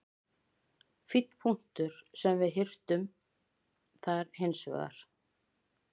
Fínn punktur sem við hirtum þar hins vegar.